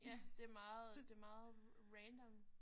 Ja det meget det meget random